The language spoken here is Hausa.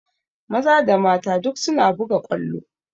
Maza da mata duk suna buga ƙwallo